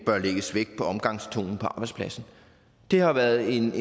bør lægges vægt på omgangstonen på arbejdspladsen det har været et